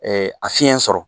a fiyɛn sɔrɔ